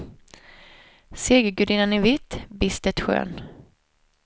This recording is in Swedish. Segergudinnan i vitt, bistert skön.